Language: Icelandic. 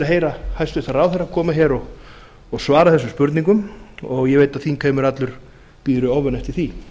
heyra hæstvirtur ráðherra koma hér og svara þessum spurningum og ég veit að þingheimur allur bíður í ofvæni eftir því